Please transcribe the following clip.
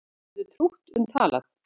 Þú getur trútt um talað